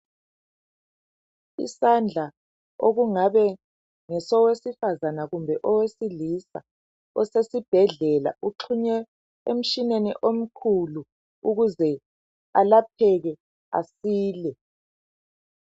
Isandla okungabe ngesowesifazana kumbe owesilisa osesibhedlela uxhunywe emtshineni omkhulu ukuze alapheke asile .